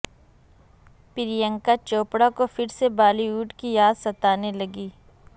پریانکا چوپڑا کو پھر سے بالی ووڈ کی یاد ستانے لگی